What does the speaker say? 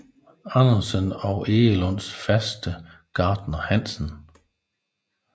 Andersen og Egelunds faste gartner Hansen